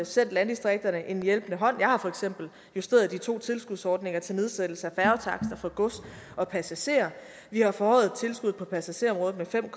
sendt landdistrikterne en hjælpende hånd jeg har for eksempel justeret de to tilskudsordninger til nedsættelse af færgetakster for gods og passagerer vi har forhøjet tilskuddet på passagererområdet med fem